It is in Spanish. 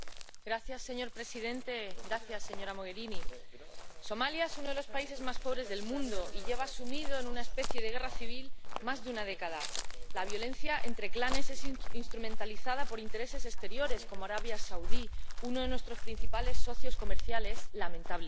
Señor presidente, señora Mogherini, Somalia es uno de los países más pobres del mundo y lleva sumido en una especie de guerra civil más de una década. La violencia entre clanes es instrumentalizada por intereses exteriores, como Arabia Saudí, uno de nuestros principales socios comerciales, lamentablemente.